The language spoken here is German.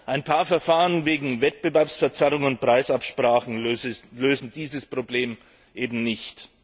Ein paar Verfahren wegen Wettbewerbsverzerrungen und Preisabsprachen lösen dieses Problem eben nicht.